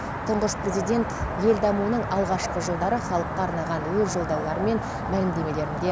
тұңғыш президент ел дамуының алғашқы жылдары халыққа арнаған өз жолдаулары мен мәлімдемелерінде